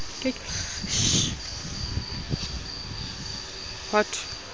ho ke ke ha thwe